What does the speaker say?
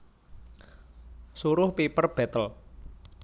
Suruh Piper betle